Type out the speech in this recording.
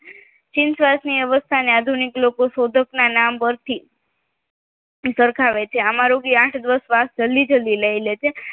ચીન ફ્રાન્સની આ અવસ્થાને આધુનિક લોકો શોધક ના નામ પરથી સરખાવે છે આમાં રોગી આઠ ધ્વજ શ્વાસ જલ્દી જલ્દી લે છે